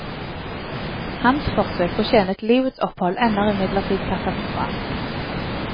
Hans forsøk på å tjene til livets opphold ender imidlertid katastrofalt.